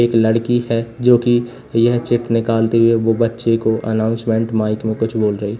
एक लड़की है जो कि यह चिट निकालते हुए वो बच्चे को अनाउंसमेंट माइक में कुछ बोल रही।